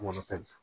Kɔnɔ ta